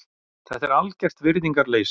Þetta er algert virðingarleysi.